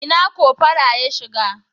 Ina cofora ya shiga?